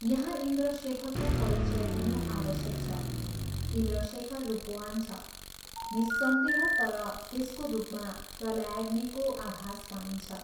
यहाँ इन्द्रशेखरको परिचय दिनु आवश्यक छ इन्द्रशेखर रूपवान् छ निःस्सन्देह तर त्यसको रूपमा प्रलयाग्निको आभास पाइन्छ।